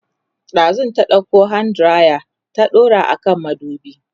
ɗazun ta ɗauko hand diraya ta daura a kan madubi